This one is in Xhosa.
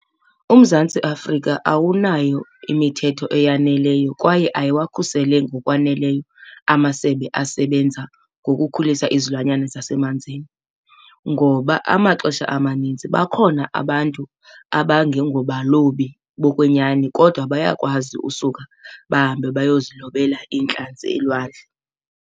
UMzantsi Afrika awunayo imithetho eyaneleyo kwaye ayiwakhusele ngokwaneleyo amasebe asebenza ngokukhulisa izilwanyana zasemanzini. Ngoba amaxesha amaninzi bakhona abantu abangengobalobi bokwenyani kodwa bayakwazi usuka bahambe bayozilobela iintlantsi elwandle.